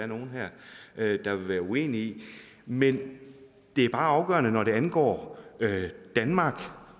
nogen her der vil være uenige i men det er bare afgørende når det angår danmark